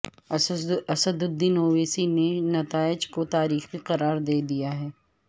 اسد الدین اویسی نے نتائج کو تاریخی قرار دیا ہے